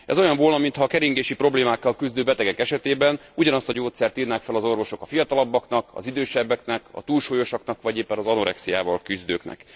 Ez olyan volna, mintha a keringési problémákkal küzdő betegek esetében ugyanazt a gyógyszert írnák fel az orvosok a fiatalabbaknak, az idősebbeknek a túlsúlyosaknak vagy éppen az anorexiával küzdőknek.